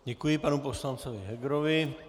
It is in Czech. Děkuji panu poslanci Hegerovi.